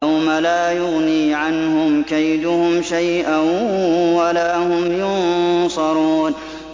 يَوْمَ لَا يُغْنِي عَنْهُمْ كَيْدُهُمْ شَيْئًا وَلَا هُمْ يُنصَرُونَ